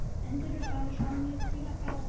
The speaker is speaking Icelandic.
Endur og svanir svamla til og frá.